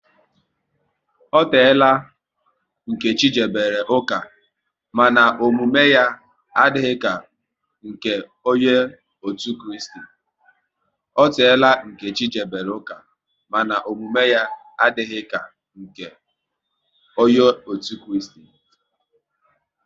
Ọ teela Nkechi jebere ụka, mana omume ya adịghị ka nke onye otu Kristi